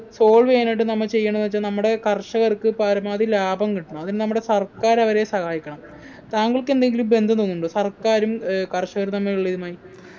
solve എയ്യാനായിട്ട് നമ്മ ചെയ്യണ്ടത് വച്ചാ നമ്മടെ കർഷകർക്ക് പരമാവധി ലാഭം കിട്ടണം അതിന് നമ്മുടെ സർക്കാർ അവരെ സഹായിക്കണം താങ്കൾക്കെന്തെങ്കിലും ബന്ധം തോന്നുന്നുണ്ടോ സർക്കാരും ഏർ കർഷകരും തമ്മിലുള്ള ഇതുമായി